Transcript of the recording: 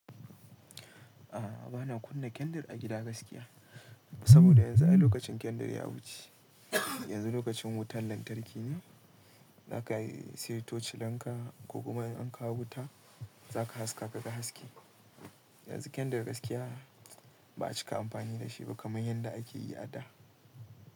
A'a bana kunna kendir a gida gaskiya, saboda yanzu ai lokacin kendir ya wuce. Yanzu lokacin wutan lantarki ne, za ka seyo toshilanka ko kuma in an kawo wuta za ka haska ka ga haske. Yanzu kendir gaskiya ba a cika amfani da shi ba kamar yadda ake yi a da.